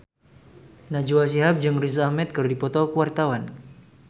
Najwa Shihab jeung Riz Ahmed keur dipoto ku wartawan